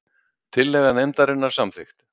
Tillaga nefndarinnar samþykkt